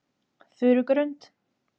Furugrund